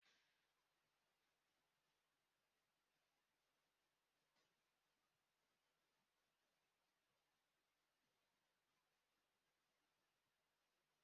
Ọ sịrị na mmeru ahụ nke ụlọ na-ebidokarị ma enwecha nrụrịtaụ́ká kpụ ọkụ n'ọnụ n'etiti di na nwunye